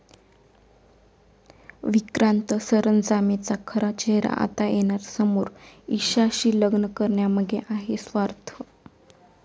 विक्रांत सरंजामेचा खरा चेहरा आता येणार समोर, ईशाशी लग्न करण्यामागे आहे स्वार्थ